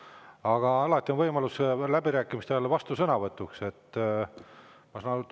Aga alati on läbirääkimiste ajal võimalus vastusõnavõtuks.